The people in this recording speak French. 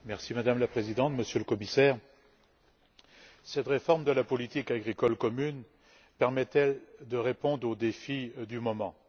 Madame la Présidente, Monsieur le Commissaire, cette réforme de la politique agricole commune permet elle de répondre aux défis du moment?